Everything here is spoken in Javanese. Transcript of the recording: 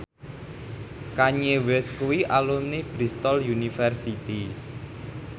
Kanye West kuwi alumni Bristol university